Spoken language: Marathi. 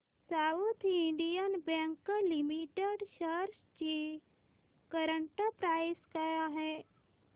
south Indian Bank Limited shares ची करंट प्राइस काय आहे